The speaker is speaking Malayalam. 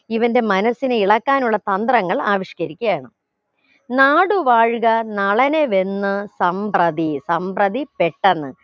ഇവന്റെ മനസ്സിനെ ഇളക്കാനുള്ള തന്ത്രങ്ങൾ ആവിഷ്കരിക്കുകയാണ് നാടുവാഴുക നളനുവെന്ന് സംപ്രതി സംപ്രതി പെട്ടെന്ന്